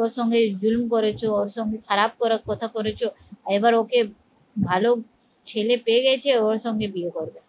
ওর সঙ্গে জুলুম করেছো ওর সঙ্গে খারাপ করে কথা করেছো এবার ওকে ভালো ছেলে পেয়ে গেছে ও ওর সঙ্গে বিয়ে করবে